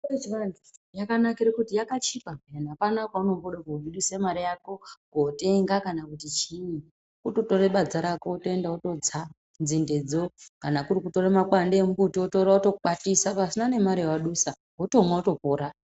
Mitombo yechiantu yakanakira kuti yakachipa apana kwaunombda kobudisa mare yako kotenga kana kuti chiini kutotore badza rako wotoenda wototsa nzinde dzo kana kuri kutora makwande emumbuti wotora wotokwatisa pasina nemare yawadusa wotomwa wotopora.